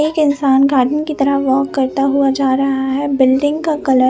एक इंसान गार्डन की तरफ वॉक करता हुआ जा रहा है बिल्डिंग का कलर --